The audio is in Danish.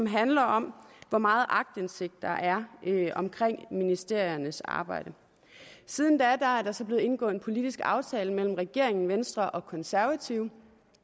handler om hvor meget aktindsigt der er i ministeriernes arbejde siden da er er der så blevet indgået en politisk aftale mellem regeringen venstre og konservative